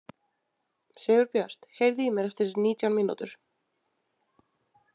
Sigurbjört, heyrðu í mér eftir nítján mínútur.